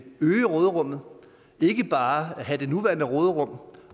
øge råderummet ikke bare have det nuværende råderum